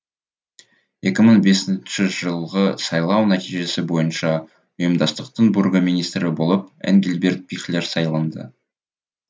екі мың бесінші жылғы сайлау нәтижесі бойынша ұйымдастықтың бургомистрі болып энгельберт пихлер сайланды